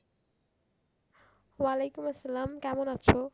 আলাইকুম আসসালাম কেমন আছো?